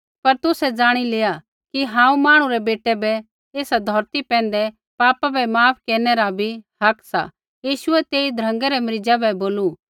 पर तुसै ज़ाणी लेआ कि हांऊँ मांहणु रै बेटै बै एसा धौरती पैंधै पापा बै माफ केरनै रा भी हक सा यीशुऐ तेई ध्रँगै रै मरीज़ा बै बोलू